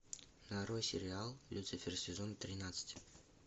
нарой сериал люцифер сезон тринадцать